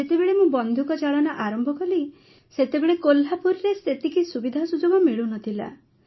ଯେତେବେଳେ ମୁଁ ବନ୍ଧୁକ ଚାଳନା ଆରମ୍ଭ କଲି ସେତେବେଳେ କୋହ୍ଲାପୁରରେ ସେତିକି ସୁବିଧାସୁଯୋଗ ମିଳୁନଥିଲା